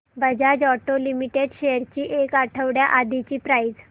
Bajaj auto limited shares ची एक आठवड्या आधीची प्राइस